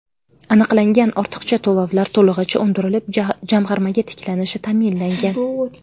Aniqlangan ortiqcha to‘lovlar to‘lig‘icha undirilib, jamg‘armaga tiklanishi ta’minlangan.